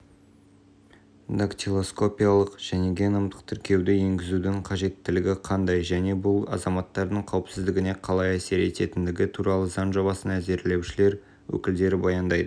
дактилоскопиялық және геномдық тіркеуді енгізудің қажеттілігі қандай және бұл азаматтардың қауіпсіздігіне қалай әсер ететіндігі туралы заң жобасын әзірлеушілер өкілдері баяндайды